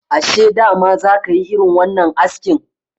Ashe dama za ka yi irin wannan askin?